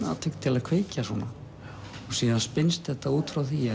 atvik til að kveikja svona síðan spinnst þetta út frá því